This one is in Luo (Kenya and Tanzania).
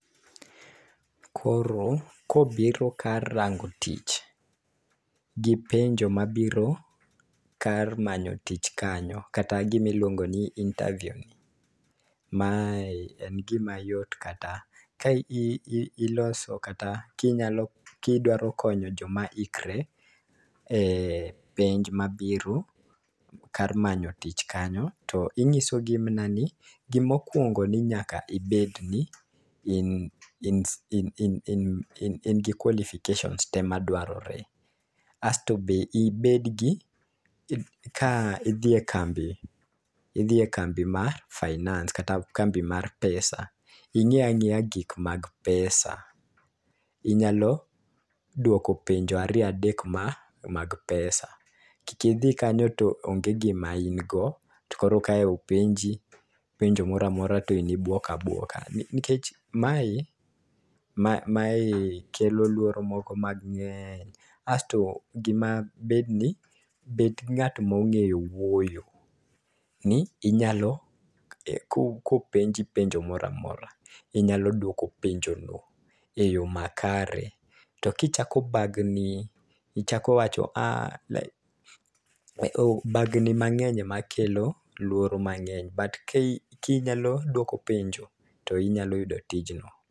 Koro kobiro kar rango tich gi penjo mabiro kar manyo tich kanyo kata gimi luongo ni interview mae en gima yot kata ka i i iloso kata kinyalo kidwaro konyo joma ikre e penj mabiro kar manyo tich kanyo, to inyiso gi mna ni gimokwongo ni nyaka ibed gi in in in in in gi qualifications te madwarore .Asto be ibed gi ka idhi e kambi idhi e kambi mar finance kata kambi mar pesa ing'e ang'eya gik mag pesa inyalo duoko penjo ariyo adek ma mag pesa .Kik idhi kanyo to onge gima in go to koro ka openji penjo moramora to in ibuok abuok nikech mae mae mae kelo luoro moko mang'eny asto gima bed ni bed nagt mong'eyo wuoyo ni inyalo e kopenji penjo moramora inyalo duoko penjo no eyoo makare. To kichako bagni ichako wacho a o bagni mang'eny makelo luoro mangeny but ki kinyalo duoko penjo to inyalo yudo tijno.